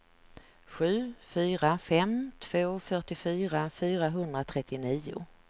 sju fyra fem två fyrtiofyra fyrahundratrettionio